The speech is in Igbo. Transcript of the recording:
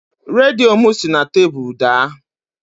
Redio m si na tebụlụ daa